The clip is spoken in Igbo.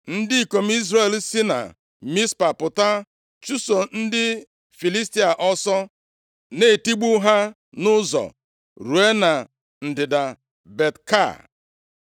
Ndị ikom Izrel si na Mizpa pụta chụso ndị Filistia ọsọ, na-etigbu ha nʼụzọ ruo na ndịda Bet-Ka.